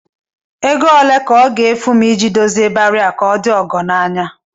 Ego ole ka ọ ga-efu m idozi ịbarị a ka ọ dị ọgọ n'anya?